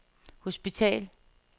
hospital